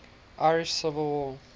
irish civil war